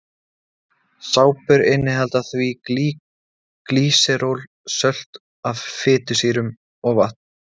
Sápur innihalda því glýseról, sölt af fitusýrum og vatn.